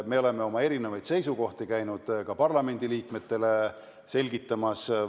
Me oleme oma erinevaid seisukohti käinud ka parlamendiliikmetele selgitamas.